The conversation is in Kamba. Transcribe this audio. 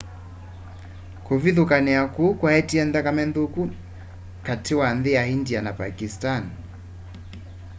kũvĩthũkanĩa kũũ kwaetie nthakame nthũku katĩ wa nthĩ ya ĩndĩa na pakisani